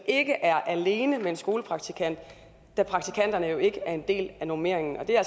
ikke er alene med en skolepraktikant da praktikanterne jo ikke er en del af normeringen og det er